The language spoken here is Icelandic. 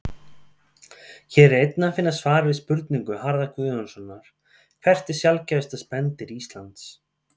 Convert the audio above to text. Hér er einnig að finna svar við spurningu Harðar Guðjónssonar Hvert er sjaldgæfasta spendýr Íslands?